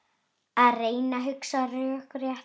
Að reyna að hugsa rökrétt